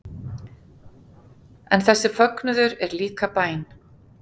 En þessi fögnuður er líka bæn